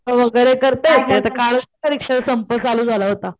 वगैरे करतय ते आता कालच परीक्षा संप चालू झाला होता